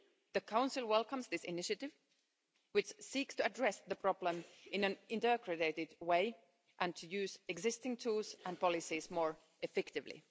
The Council welcomes this initiative, which seeks to address the problem in an integrated way and to use existing tools and policies more effectively.